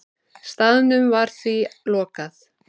Staðnum var því lokað.